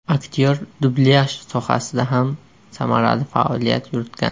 Aktyor dublyaj sohasida ham samarali faoliyat yuritgan.